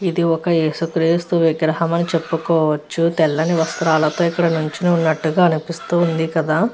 ఇది ఒక యేసుక్రీస్తు విగ్రహం అని చెప్పుకోవచ్చు ఇక్కడ తెల్లని వస్త్ర నుంచొని ఉన్నట్టుగా అనిపిస్తుంది కదా.